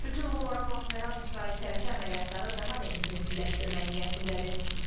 Bütün bunlara baxmayaraq, İsrail tərəfi əməliyyatları daha da intensivləşdirmək niyyətindədir.